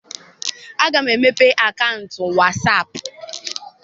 Aga m emepe akaụntụ wasaapụ.